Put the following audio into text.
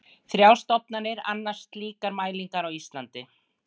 Þrjár stofnanir annast slíkar mælingar á Íslandi.